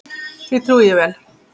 Því trúi ég vel.